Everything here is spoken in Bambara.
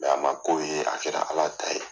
Nga a man k'o ye a kɛra Ala ta ye.